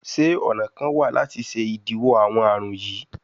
Ṣe ọna kan wa lati ṣe idiwọ awọn arun yii?